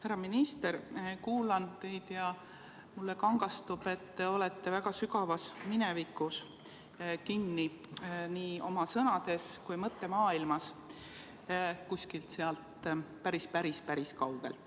Härra minister, kuulan teid ja mulle kangastub, et te olete kinni väga sügavas minevikus nii oma sõnade kui ka mõttemaailma poolest, kuskil seal päris-päris-päris kaugel.